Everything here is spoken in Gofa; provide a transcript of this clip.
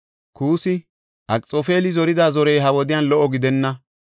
Kuusi, “Akxoofeli zorida zorey ha wodiyan lo77o gidenna.